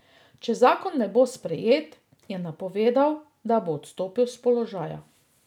Če zakon ne bo sprejet, je napovedal, da bo odstopil s položaja.